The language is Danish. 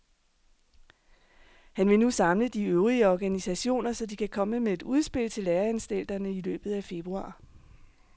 Han vil nu samle de øvrige organisationer, så de kan komme med et udspil til læreanstalterne i løbet af februar.